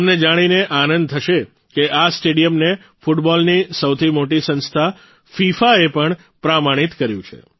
તમને એ જાણીને આનંદ થશે કે આ સ્ટેડિયમને ફૂટબોલની સૌથી મોટી સંસ્થા ફીફાએ પણ પ્રમાણિત કર્યું છે